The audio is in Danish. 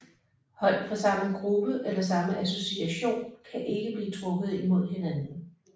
Hold fra samme gruppe eller samme association kan ikke blive trukket mod hinanden